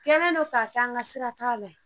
Kɛlen don k'a kɛ an ka sira t'a la